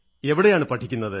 എവിടെയാണ് പഠിക്കുന്നത്